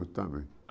Eu também.